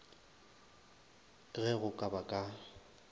ge go ka ba ka